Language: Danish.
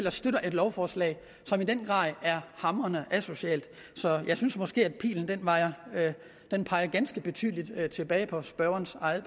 og støtter et lovforslag som i den grad er hamrende asocialt jeg synes måske at pilen peger ganske tydeligt tilbage på spørgerens eget